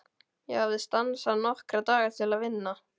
Ég hafði stansað nokkra daga til að vinna.